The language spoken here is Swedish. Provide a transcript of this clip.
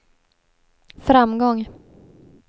framgång